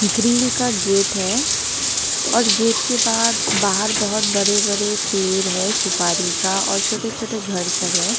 Grill का gate है और गेट के बाद बाहर बहुत बड़े बड़े पेड़ है सुपारी का और छोटे छोटे घर सब है।